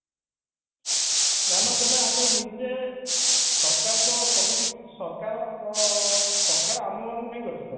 ନହଲେ କହିଲେ ଆମେ ନିଜେ ସରକାର ତ ସବୁ କିଛି ସରକାର ଅ ସରକାର ଆମମାନଙ୍କୁ ନେଇ ଗଠିତ